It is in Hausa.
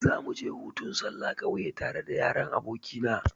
Za mu je hutun sallah kauye tare da yaran aboki na.